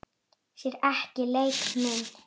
Sér ekki leik minn.